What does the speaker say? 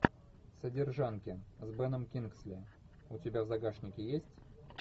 содержанки с беном кингсли у тебя в загашнике есть